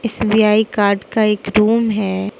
SBI card का एक room है।